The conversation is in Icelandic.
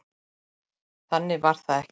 Þannig var það ekki.